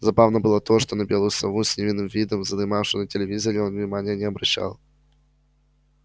забавно было то что на белую сову с невинным видом задремавшую на телевизоре он внимания не обращал